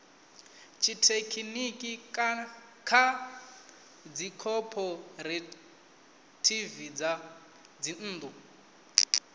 tshithekhiniki kha dzikhophorethivi dza dzinnḓu